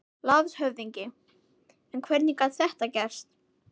LANDSHÖFÐINGI: En hvernig gat þetta gerst?